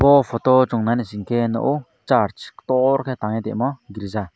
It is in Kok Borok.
o photo o song nai naisike nogo church tor ke tangtoimo girja.